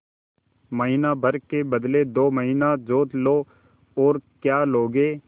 महीना भर के बदले दो महीना जोत लो और क्या लोगे